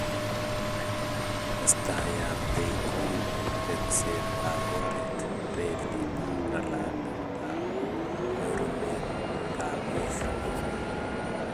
Testai ab kei kou tekset ab oret, relit ak ngalalet ak nyorunet ab peek